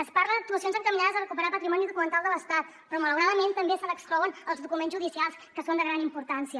es parla d’actuacions encaminades a recuperar patrimoni documental de l’estat però malauradament també se n’exclouen els documents judicials que són de gran importància